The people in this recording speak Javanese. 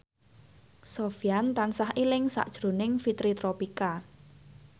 Sofyan tansah eling sakjroning Fitri Tropika